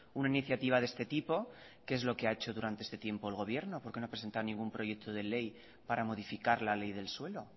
una iniciativa de este tipo qué es lo que ha hecho durante este tiempo el gobierno por qué no ha presentado ningún proyecto de ley para modificar la ley del suelo